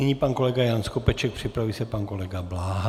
Nyní pan kolega Jan Skopeček, připraví se pan kolega Bláha.